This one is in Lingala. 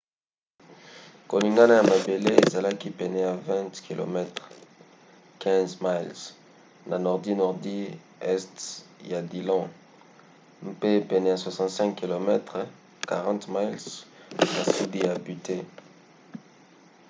koningana ya mabele ezalaki pene ya 20 km 15 miles na nordi-nordi este ya dillon mpe pene ya 65 km 40 miles na sudi ya butte